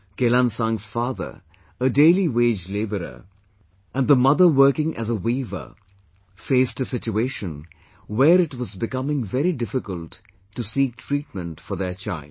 Kelansang's father, a daily wage laborer, and the mother working as a weaver faced a situation where it was becoming very difficult to seek treatment for their child